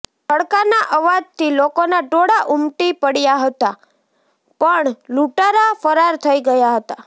ધડકાના અવાજથી લોકોનાં ટોળાં ઉમટી પડયાં હતાં પણ લૂંટારા ફરાર થઈ ગયા હતા